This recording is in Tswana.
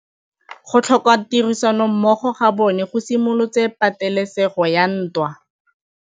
Go tlhoka tirsanommogo ga bone go simolotse patêlêsêgô ya ntwa.